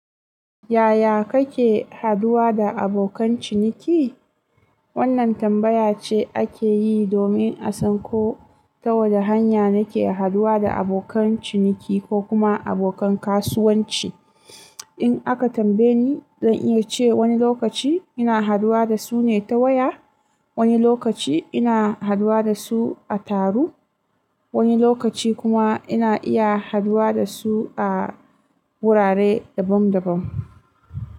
Yaya kake haduwa da abokan ciniki? Wannan tambaya ce ake yi domin a san ko, ta wane hanya nake haduwa da abokan ciniki ko kuma abokan kasuwanci. In aka tambaye ni, zan iya ce wani lokaci, ina haduwa da su ne ta waya, wani lokaci ina haduwa da su a taru, wani lokaci kuma ina iya haduwa da su a wurare dabam-dabam.